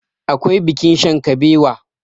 akwai bikin shankabewa